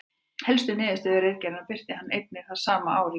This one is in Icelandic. Helstu niðurstöðu ritgerðarinnar birti hann einnig það sama ár í grein.